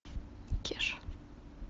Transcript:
кеша